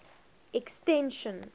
extension